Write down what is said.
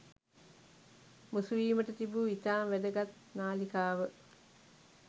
මුසුවීමට තිබූ ඉතාම වැදගත් නාලිකාව